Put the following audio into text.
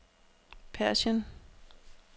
Persien